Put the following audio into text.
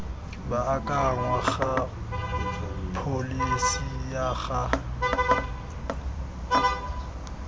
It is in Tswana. baakangwa ga pholesi ya ga